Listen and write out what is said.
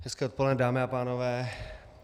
Hezké odpoledne, dámy a pánové.